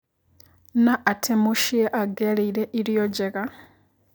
Na atĩ mũciĩ angiarĩire irio njega.